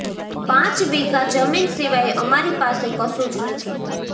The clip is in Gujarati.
પાંચ વીઘા જમીન સિવાય અમારી પાસે કશું જ નથી